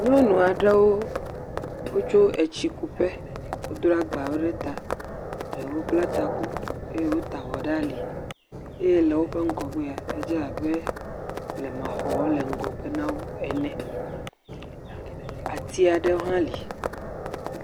Nyɔnu aɖewo tso tsi kuƒe. Wodro agbawo ɖe ta. Ɖewo bla taku eye wota avɔ ɖe ali eye woƒe ŋgɔgbea, edze abe blema xɔwo le ŋgɔgbe na wo ene. Ati aɖe hã li.